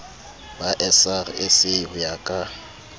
ba srsa ho ya ka